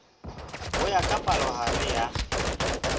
ho ya ka palohare ya